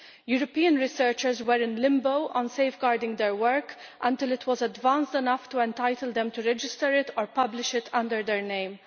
European researchers were in limbo on safeguarding their work until it was advanced enough to entitle them to register it or publish it under their name.